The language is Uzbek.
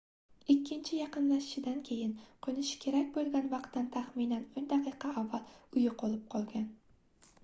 ikkinchi yaqinlashishidan keyin qoʻnishi kerak boʻlgan vaqtdan taxminan oʻn daqiqa avval u yoʻqolib qolgan